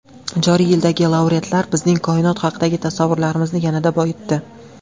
Joriy yilgi laureatlar bizning koinot haqidagi tasavvurlarimizni yanada boyitdi.